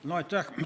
Aitäh!